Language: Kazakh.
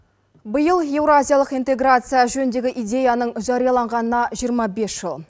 биыл еуразиялық интеграция жөніндегі идеяның жарияланғанына жиырма бес жыл